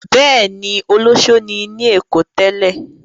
Bẹ́ẹ̀ ni, olóṣó ni ní Èkó tẹ́lẹ̀.